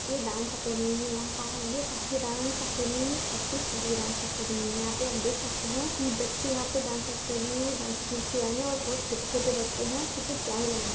ये dance academy है यहाँ कहाँ ये कहाँ की डांस अकेडमी है छत्तीसगढ़ के डांस अकेडमी है यहाँ पे आप देख सकते है कि बच्चे यहाँ पे डांस अकेडमी में डांस सिखने आये है और बहुत छोटे - छोटे बच्चे है कितने प्यारे लग रहे हैं।